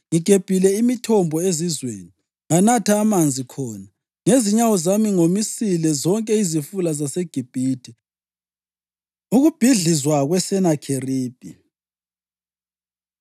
Ngigebhile imithombo ezizweni nganatha amanzi khona. Ngezinyawo zami ngomisile zonke izifula zaseGibhithe.” ’” Ukubhidlizwa kweSenakheribhi